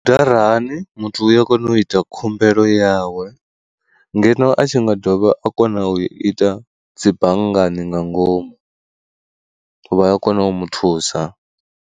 Bandarali muthu u ya kona u ita khumbelo yawe ngeno a tshi nga dovha a kona u ita dzi banngani nga ngomu, vha ya kona u mu thusa.